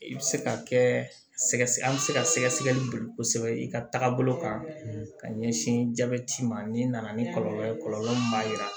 I bɛ se ka kɛ an bɛ se ka sɛgɛsɛgɛli boli kosɛbɛ i ka taga bolo kan ka ɲɛsin jabɛti ma ni nana ni kɔlɔlɔ ye kɔlɔlɔ min b'a jira